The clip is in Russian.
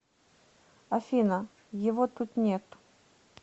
афина его тут нет